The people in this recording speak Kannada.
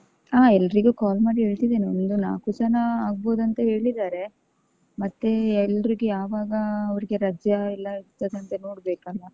ಹ ಎಲ್ರಿಗೂ call ಮಾಡಿ ಹೇಳ್ತಿದಿನಿ ಒಂದು ನಾಕು ಜನ ಆಗ್ಬೋದ್ ಅಂತ ಹೇಳಿದಾರೆ. ಮತ್ತೆ ಎಲ್ರಿಗೂ ಯಾವಾಗ ಅವ್ರ್ಗೆ ರಜೆ ಎಲ್ಲಾ ಇರ್ತದಂತಾ ನೋಡ್ಬೇಕಲ್ಲ.